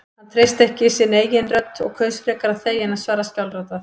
Hann treysti ekki sinni eigin rödd og kaus frekar að þegja en að svara skjálfraddað.